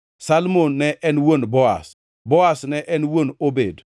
Salmon ne en wuon Boaz, Boaz ne en wuon Obed,